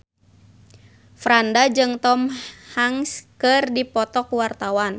Franda jeung Tom Hanks keur dipoto ku wartawan